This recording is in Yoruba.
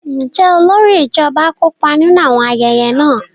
Njẹ olórí ijọba kópa ninu awọn ayẹyẹ náà?